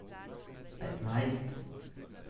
Petnajst?